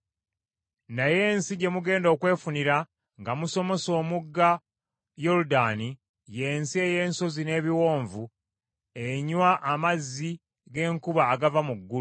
Naye ensi gye mugenda okwefunira nga musomose omugga Yoludaani, ye nsi ey’ensozi n’ebiwonvu, enywa amazzi g’enkuba agava mu ggulu.